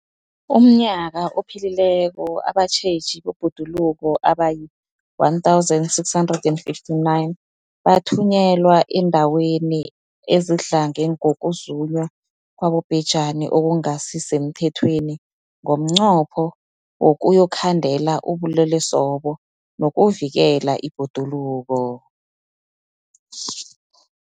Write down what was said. UmNnyaka ophelileko abatjheji bebhoduluko abayi-1 659 bathunyelwa eendaweni ezidlange ngokuzunywa kwabobhejani okungasi semthethweni ngomnqopho wokuyokukhandela ubulelesobu nokuvikela ibhoduluko.